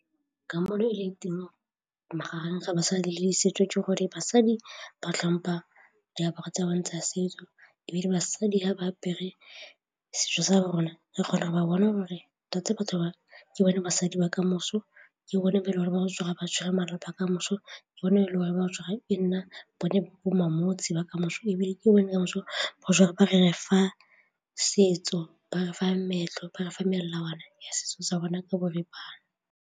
Ka magareng ga basadi le setso jo gore basadi ba tlhompha diaparo tsa bone tsa setso ebile basadi ha ba apere setso sa rona re kgona go ba bona gore tota batho ba ke bone basadi ba kamoso, ke bone ba rona ba gotse ba tshwere malapa kamoso, ke bone le gore e nna bone bomma motse ba kamoso ebile ke bona thuso ba refa setso, ba refa meetlo, ba refa melawana ya setso sa bona ka boripana.